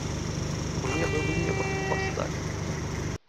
мне бы в небо поставь